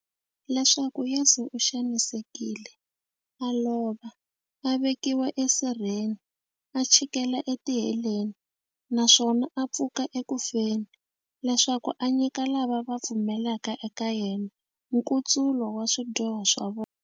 Leswaku Yesu u xanisekile, a lova, a vekiwa esirheni, a chikela etiheleni, naswona a pfuka eku feni, leswaku a nyika lava va pfumelaka eka yena, nkutsulo wa swidyoho swa vona.